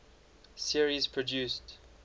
series produced